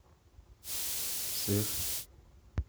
сыр